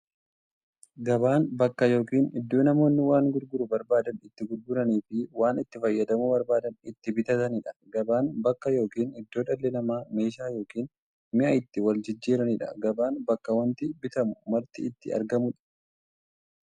Gabaan bakka yookiin iddoo namoonni waan gurguruu barbaadan itti gurguraniifi waan itti fayyadamuu barbaadan itti bitataniidha. Gabaan bakka yookiin iddoo dhalli namaa meeshaa yookiin mi'a itti waljijjiiraniidha. Gabaan bakka wanti bitamu marti itti argamuudha.